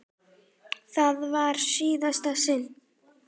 Það var í síðasta sinn.